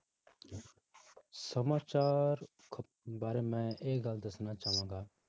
ਸਮਾਚਾਰ ਬਾਰੇ ਮੈਂ ਇਹ ਗੱਲ ਦੱਸਣਾ ਚਾਹਾਂਗਾ,